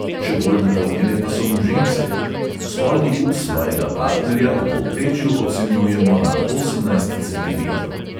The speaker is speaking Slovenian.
Še bolj naklonjene pa so mu ženske: spolni ud svojega partnerja v povprečju ocenjujemo na osemnajst centimetrov.